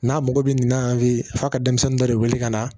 N'a mago bɛ nin na an fɛ f'a ka denmisɛnnin dɔ de wele ka na